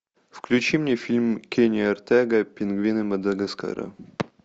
включи мне фильм кени артего пингвины мадагаскара